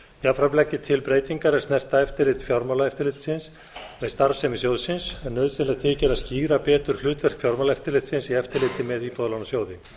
jafnframt legg ég til breytingar er snerta eftirlit fjármálaeftirlitsins með starfsemi sjóðsins en nauðsynlegt þykir að skýra betur hlutverk fjármálaeftirlitsins í eftirliti með íbúðalánasjóði